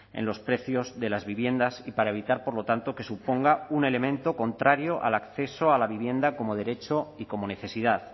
en los precios de las viviendas y para evitar por lo tanto que suponga un elemento contrario al acceso a la vivienda como derecho y como necesidad